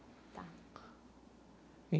Tá.